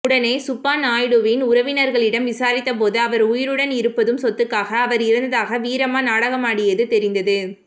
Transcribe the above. உடனே சுப்பாநாயுடுவின் உறவினர்களிடம் விசாரித்த போது அவர் உயிருடன் இருப்பதும் சொத்துக்காக அவர் இறந்ததாக வீரம்மா நாடகமாடியது தெரிந்தது